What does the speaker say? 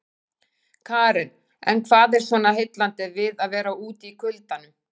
Karen: En hvað er svona heillandi við að vera úti í kuldanum?